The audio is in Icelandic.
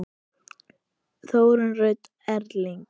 Þórunn Rut og Erling.